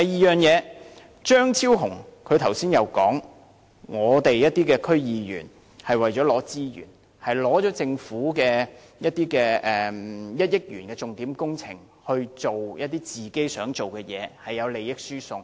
再者，張超雄議員剛才說，有些區議員為了獲取資源，利用政府的1億元重點工程來做自己想做的事情，涉及利益輸送。